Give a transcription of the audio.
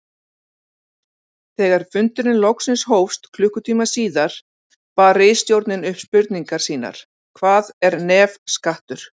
Þegar fundurinn loksins hófst klukkutíma síðar bar ritstjórnin upp spurningar sínar: Hvað er nefskattur?